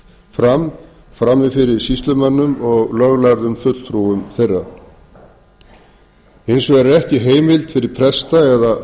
fram frammi fyrir sýslumönnum og löglærðum fulltrúum þeirra hins vegar er ekki heimild fyrir presta hins vegar er ekki heimild